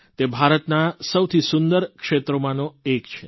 તે ભારતના સૌથી સુંદર ક્ષેત્રોમાંનો એક છે